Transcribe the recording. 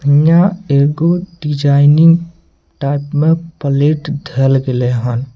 हीया एगो design type मे प्लेट धेल गैले ये।